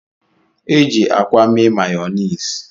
E ji akwa mee Mayoniisi.